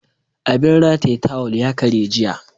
Abin rataye tawul ya karye jiya.